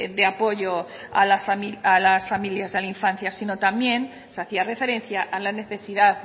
de apoyo a las familias y a la infancia sino también se hacía referencia a la necesidad